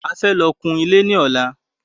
A fẹ́ lọ kun ilé ní ọ̀la